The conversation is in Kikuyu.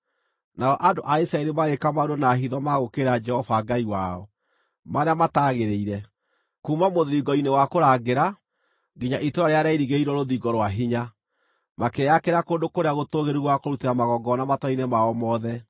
Nao andũ a Isiraeli magĩĩka maũndũ na hitho ma gũũkĩrĩra Jehova Ngai wao marĩa mataagĩrĩire. Kuuma mũthiringo-inĩ wa kũrangĩra nginya itũũra rĩrĩa rĩairigĩirwo rũthingo rwa hinya, makĩĩakĩra kũndũ kũrĩa gũtũũgĩru gwa kũrutĩra magongona matũũra-inĩ mao mothe.